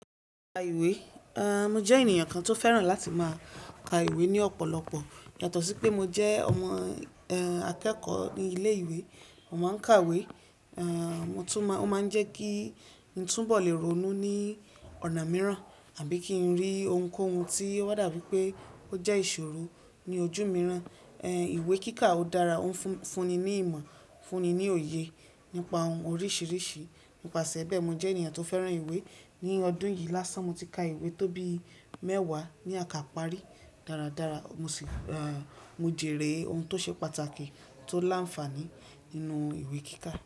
Ka ìwé, a, mo jẹ́ ènìyàn kan tó fẹ́ràn láti máa ka ìwé ní ọ̀pọ̀lọpọ̀. Yátọ̀sí pé mo jẹ́ ọmọ, e, akẹ́kọ̀ọ́ ní ilé ìwé, mo ma ń ka ìwé, a, mo tún máa, ó máa ń jẹ́ kí n túbọ̀ lè ronú ní ọ̀nà mìíràn àbí kí n rí ohunkóhun tí ó ba dà bii pé ó jẹ́ ìṣòro ní ojú mìíràn. E, ìwé kíkà ó dára, ó ń fún, fún ni ní ìmọ̀, fún ni ní òye nípa ohun oríṣìíríṣìí. Nipase bẹ́ẹ̀, mo jẹ́ ènìyàn tó fẹ́ràn ìwé. Ni ọdún yìí lásán, mo ti ka ìwé tó bi mẹ́wàá ni akàparí. Daradara, mo sì, a, mo jèrè ohun tó ṣe pàtàkì tó l'áǹfààní nínú ìwé kíkà.